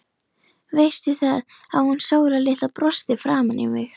Veistu það, að hún Sóla litla brosti framan í mig.